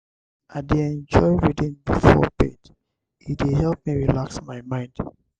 i dey enjoy reading before bed; e dey help me relax my mind.